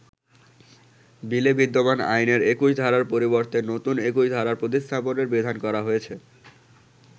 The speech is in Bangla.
বিলে বিদ্যমান আইনের ২১ ধারার পরিবর্তে নতুন ২১ ধারা প্রতিস্থাপনের বিধান করা হয়েছে।